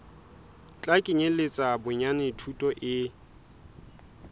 tla kenyeletsa bonyane thuto e